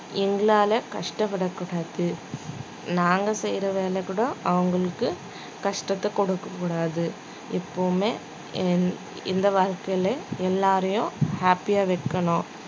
எங்களால கஷ்டப்படக்கூடாது நாங்க செய்யற வேலை கூட அவங்களுக்கு கஷ்டத்தை கொடுக்கக் கூடாது எப்பவுமே இந்~ இந்த வாழ்க்கையிலே எல்லாரையும் happy ஆ வைக்கணும்